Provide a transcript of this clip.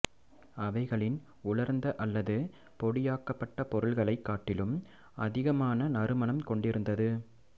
அவைகளின் உலர்ந்த அல்லது பொடியாக்கப்பட்ட பொருள்களைக் காட்டிலும் அதிகமான நறுமணம் கொண்டிருந்தது